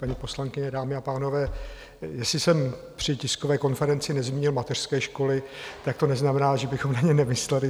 Paní poslankyně, dámy a pánové, jestli jsem při tiskové konferenci nezmínil mateřské školy, tak to neznamená, že bychom na ně nemysleli.